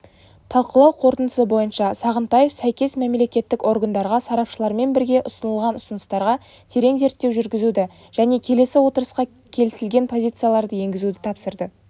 талқылау қорытындысы бойынша сағынтаев сәйкес мемлекеттік органдарға сарапшылармен бірге ұсынылған ұсыныстарға терең зерттеу жүргізуді және келесі отырысқа келісілген позицияларды енгізуді тапсырды